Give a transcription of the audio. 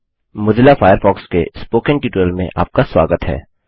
Mozilla Firefox के spoken tutorial में आपका स्वागत है